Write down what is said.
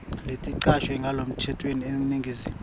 leticashwe ngalokusemtsetfweni eningizimu